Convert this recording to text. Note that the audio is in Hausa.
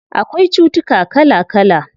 Akwai cutuka kala kala